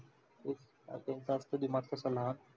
तेंचं असतं दिमाग पेक्षा लहान.